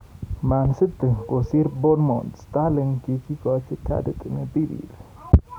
Man City kosiir Bournemouth, Sterling kokikochi kadit ne birir.